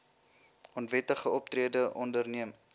onwettige optrede onderneem